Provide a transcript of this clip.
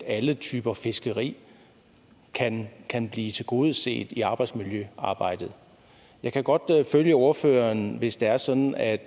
alle typer fiskeri kan kan blive tilgodeset i i arbejdsmiljøarbejdet jeg kan godt følge ordføreren hvis det er sådan at